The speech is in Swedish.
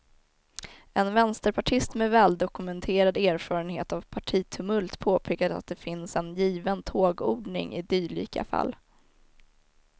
En vänsterpartist med väldokumenterad erfarenhet av partitumult påpekade att det finns en given tågordning i dylika fall.